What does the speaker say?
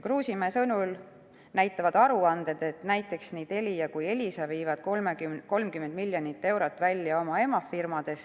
Kruusimäe sõnul näitavad aruanded, et näiteks nii Telia kui ka Elisa viivad 30 miljonit eurot välja oma emafirmadesse.